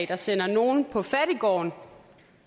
der sender nogen på fattiggården